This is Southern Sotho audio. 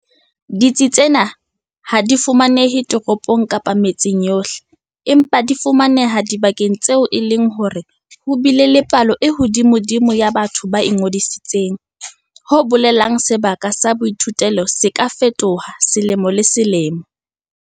Ditsi tsena ha di fumanehe ditoropong kapa metseng yohle, empa di fumaneha dibakeng tseo e leng hore ho bile le palo e hodimodimo ya batho ba ingodisitseng, ho bolelang sebaka sa boithutelo se ka fetoha selemo le selemo.